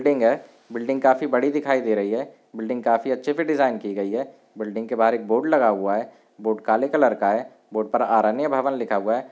Building है। Building काफी बड़ी दिखाई दे रही है। बिल्डिंग काफी अच्छे से डिजाइन की गई है। बिल्डिंग के बाहर एक बोर्ड लगा हुआ है। बोर्ड काले कलर का है। बोर्ड पर अरण्य भवन लिखा हुआ है।